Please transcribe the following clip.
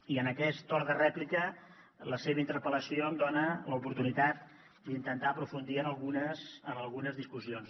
i en aquest torn de rèplica la seva interpel·lació em dona l’oportunitat d’intentar aprofundir en algunes discussions